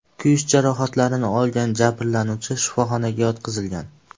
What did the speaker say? Kuyish jarohatlarini olgan jabrlanuvchi shifoxonaga yotqizilgan.